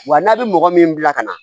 Wa n'a bɛ mɔgɔ min bila ka na